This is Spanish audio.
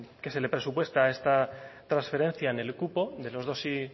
que se le presupuesta a esta transferencia en el cupo de los dos coma cinco